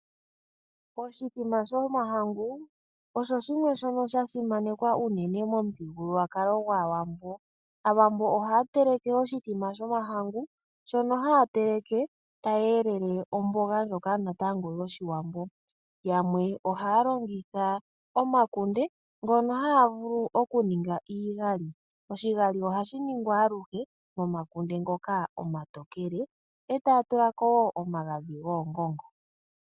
Oshimbombo shomahangu osho shimwe shoka sha simanekwa unene momuthigululwakalo gAawambo. Aawambo ohaya teleke oshimbombo shomahangu, shoka haya teleke e taye shi elele nomboga ndjoka yoshiwambo. Yamwe ohaya longitha omakunde ngoka haya vulu okuninga iigali. Oshigali ohashi ningwa momakunde omatokele, e taya tulako wo omagadhi goongongo.